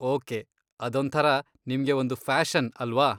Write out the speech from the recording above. Okay, ಅದೊಂಥರ ನಿಮ್ಗೆ ಒಂದು ಪ್ಯಾಶನ್ ಅಲ್ವಾ?